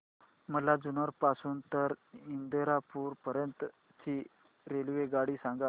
मला जुन्नर पासून तर इंदापूर पर्यंत ची रेल्वेगाडी सांगा